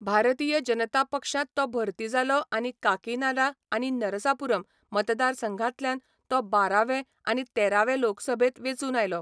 भारतीय जनता पक्षांत तो भरती जालो आनी काकीनाडा आनी नरसापुरम मतदारसंघांतल्यान तो बारा वें आनी तेरा वें लोकसभेंत वेंचून आयलो.